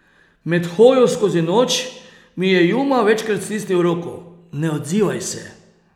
Med hojo skozi noč mi je Juma večkrat stisnil roko: 'Ne odzivaj se!